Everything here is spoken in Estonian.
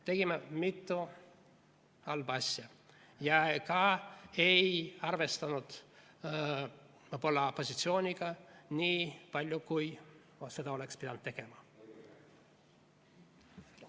Tegime mitu halba asja ja ka ei arvestanud võib-olla opositsiooniga nii palju, kui seda oleks pidanud tegema.